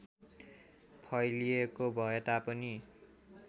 फैलिएको भए तापनि